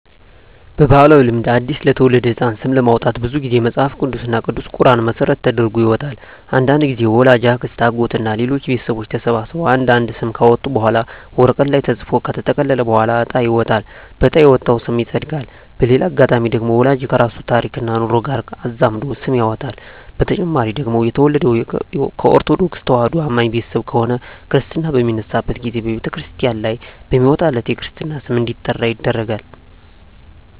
በባህላዊ ልማድ አዲስ ለተወለደ ህጻን ስም ለማውጣት ብዙ ግዜ መጸሀፍ ቅዱስ እና ቅዱስ ቁራንን መሰረት ተደርጎ ይወጣል። አንዳንድግዜም ወላጅ፣ አክስት፣ አጎት እና ሌሎች ቤተሰቦች ተሰብስበው አንድ አንድ ስም ካወጡ በኋላ ወረቀት ላይ ተጽፎ ከተጠቀለለ በኋላ እጣ ይወጣል በእጣ የወጣው ስም ይጸድቃል። በሌላ አጋጣሚ ደግሞ ወላጅ ከራሱ ታሪክና ኑሮ ጋር አዛምዶ ስም ያወጣል። በተጨማሪ ደግሞ የተወለደው ከኦርተዶክ ተዋህዶ አማኝ ቤተሰብ ከሆነ ክርስታ በሚነሳበት ግዜ በተክርስቲያን ላይ በሚወጣለት የክርስትና ስም እንዲጠራ ይደረጋል።